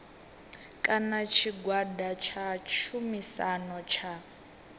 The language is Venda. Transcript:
kana tshigwada tsha tshumisano tsha